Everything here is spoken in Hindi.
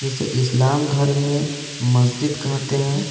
इसे इस्लाम धर्म में मस्जिद कहते हैं।